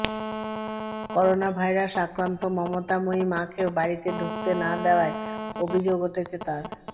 coronavirus আক্রান্ত মমতাময়ী মাকে বাড়িতে ঢুকতে না দেয়ার অভিযোগ উঠেছে তার